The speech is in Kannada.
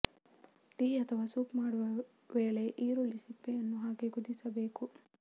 ಟೀ ಅಥವಾ ಸೂಪ್ ಮಾಡುವ ವೇಳೆ ಈರುಳ್ಳಿ ಸಿಪ್ಪೆಯನ್ನು ಹಾಕಿ ಕುದಿಸಬೇಕು